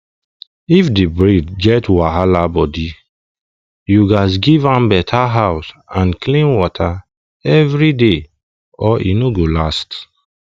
if the breed get wahala body you gats give am better house and clean water every day or e no go last